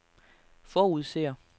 forudser